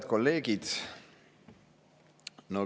Head kolleegid!